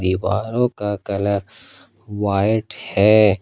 दीवारों का colour white है।